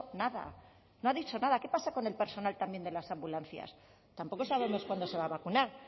nada no ha dicho nada qué pasa con el personal también de las ambulancias tampoco sabemos cuándo se va a vacunar